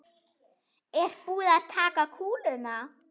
Er búið að taka kúluna?